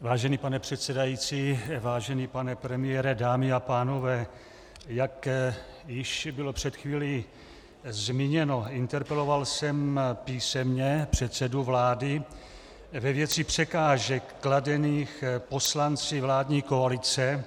Vážený pane předsedající, vážený pane premiére, dámy a pánové, jak již bylo před chvílí zmíněno, interpeloval jsem písemně předsedu vlády ve věci překážek kladených poslanci vládní koalice